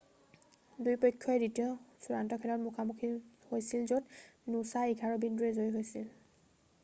2 পক্ষই দ্বিতীয় চূড়ান্ত খেলত মুখা মুখী হৈছিল য'ত নুছাঁ 11 বিন্দুৰে জয়ী হৈছিল